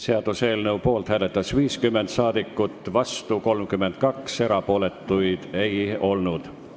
Hääletustulemused Poolt hääletas 50 ja vastu 32 rahvasaadikut, erapooletuks ei jäänud keegi.